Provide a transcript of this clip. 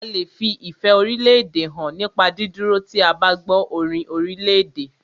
A lè fi ìfẹ́ orílédè hàn nípa dídúró tí o bá gbọ́ orin orílèdè.